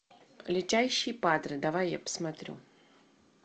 летящий падре давай я посмотрю